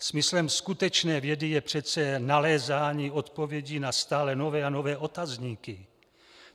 Smyslem skutečné vědy je přece nalézání odpovědí na stále nové a nové otazníky.